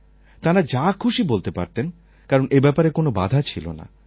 তাঁরা যা খুশি বলতে পারতেন কারণ এই ব্যাপারে কোন বাধা ছিল না